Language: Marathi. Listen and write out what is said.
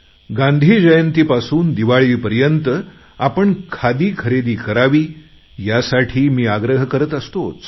गांधी जयंती पासून दिवाळीपर्यंत आपण खादी खरेदी करावी यासाठी मी आग्रह करत असतोच